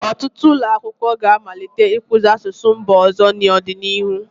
Ọtụtụ ụlọ akwụkwọ ga-amalite ịkụzi asụsụ mba ọzọ n'ọdịnihu.